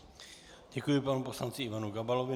Děkuji panu poslanci Ivanu Gabalovi.